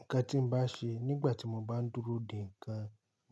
Nǹkan tí mo bá ṣe nígbà tí mo bá ń dúró dè ǹkan